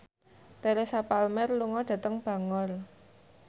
Teresa Palmer lunga dhateng Bangor